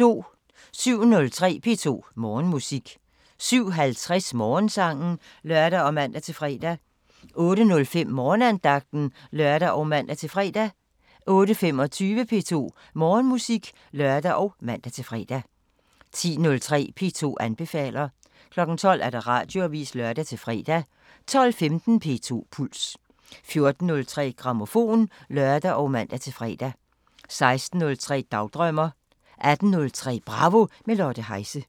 07:03: P2 Morgenmusik 07:50: Morgensangen (lør og man-fre) 08:05: Morgenandagten (lør og man-fre) 08:25: P2 Morgenmusik (lør og man-fre) 10:03: P2 anbefaler 12:00: Radioavisen (lør-fre) 12:15: P2 Puls 14:03: Grammofon (lør og man-fre) 16:03: Dagdrømmer 18:03: Bravo – med Lotte Heise